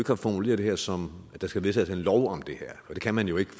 har formuleret det her som at der skal vedtages en lov om det her for det kan man jo ikke